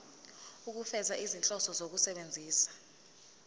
ukufeza izinhloso zokusebenzisa